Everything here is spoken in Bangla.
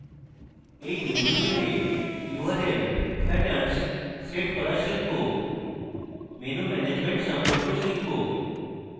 in tutorial url patterns set করা শিখব menu management সম্পর্কেও শিখব